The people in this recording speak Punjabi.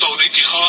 ਤਹ ਓਹਨੇ ਕੇਹਾ